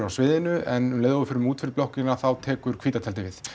á sviðinu en um leið og við förum út fyrir blokkina þá tekur hvíta tjaldið við